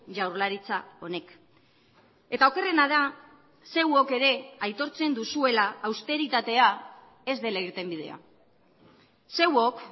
jaurlaritza honek eta okerrena da zeuok ere aitortzen duzuela austeritatea ez dela irtenbidea zeuok